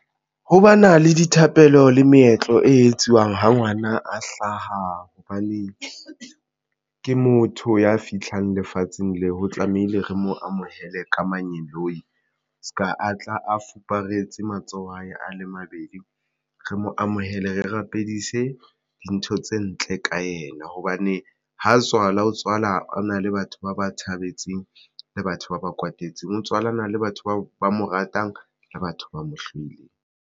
Ho bana le dithapelo le meetlo e etsuwang ha ngwana a hlaha hobane ke motho ya fihlang lefatsheng le ho tlamehile re mo amohele ka manyeloi, se ka atla a fuparetse matsoho a hae a le mabedi re mo amohele re rapedise dintho tse ntle ka ena hobane ha tswalwa o tswalwa o na le batho ba ba thabetseng le batho ba ba kwatetseng o tswallana le batho bao ba mo ratang le batho ba mo hloile.